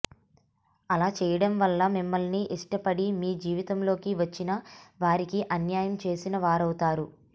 అలా చేయడం వల్ల మిమ్మల్ని ఇష్టపడి మీ జీవితంలోకి వచ్చిన వారికి అన్యాయం చేసిన వారవుతారు